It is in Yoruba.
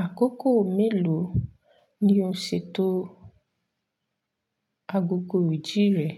Àkókò mélòó ni o ṣètò ágógó ìjí rẹ?